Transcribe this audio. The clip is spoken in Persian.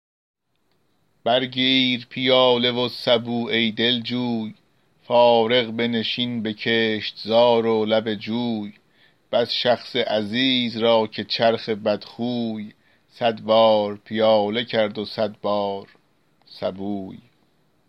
بر گیر پیاله و سبو ای دلجوی فارغ بنشین به کشتزار و لب جوی بس شخص عزیز را که چرخ بدخوی صد بار پیاله کرد و صد بار سبوی